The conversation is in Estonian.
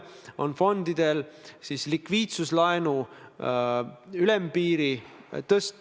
Ja tõesti, eile tuli kokku Riigikogu majanduskomisjon, kus seda teemat arutati.